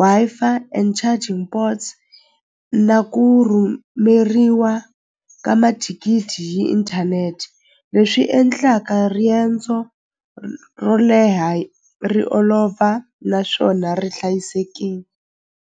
Wi-Fi and charging ports na ku rhumeriwa ka mathikithi hi inthanete leswi endlaka riendzo ro leha ri olova naswona ri hlayisekini.